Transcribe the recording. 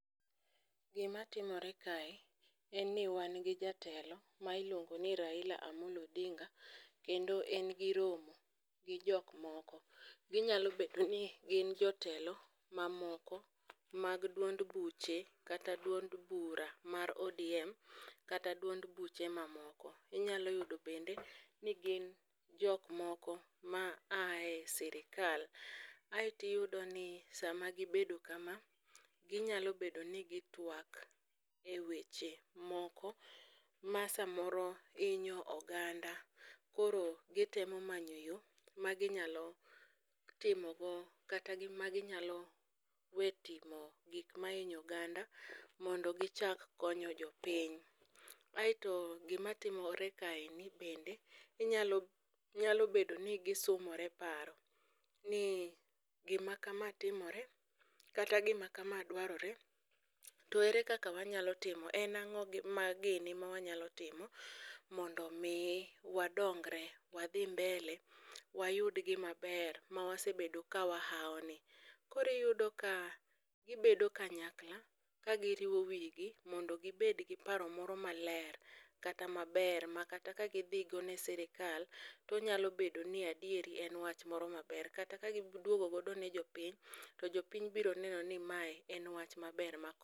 Gima timore kae, en ni wan gi jatelo ma iliongo ni Raila amollo odinga. Kendo en gi romo, gi jok moko, ginyalo bedo ni gin jotelo mamoko mag duond buche kata duond buche kata duond bura mar odm kata duond buche mamoko. Inyalo yudo bende ni gin jok moko ma ae sirikal ae to iyudo ni sama gibedo kama, ginyalo bedo ni gitwak e weche moko ma samoro hinyo oganda, koro gitem manyo yoo, maginyalo timogo kata magi nyalo we timo gik ma hinyo oganda mondo gichak konyo jo piny. Aeto gima timore kaendi nyalo bedo ni gisumore paro, ni gima kama timore kata gima kama dwarore to ere kaka wanyalo timo en ang'o gini ma wanyalo timo mondo mi wa dongre wadhi mbele wayud gima ber ma wasebedo ka wahao ni. Koro iyudo ka gibedo kanyakla ka giriwo wigi mondo gibed gi paro moro ma maler kata maber ma kata kagidhi go ne sirkal, to onyalo bedo ni adieri en wach moro maber kata ka giduogo go ne jo piny, to jopiny biro neno ni mae en wach maber makonyo.